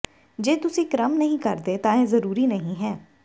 ਜੇ ਤੁਸੀਂ ਕ੍ਰਮ ਨਹੀਂ ਕਰਦੇ ਤਾਂ ਇਹ ਜ਼ਰੂਰੀ ਨਹੀਂ ਹੈ